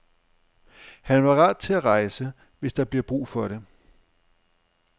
Han er parat til at rejse, hvis der bliver brug for det.